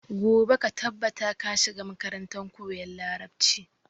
Gobe ka tabbata ka shiga makarantar koyan Larabci.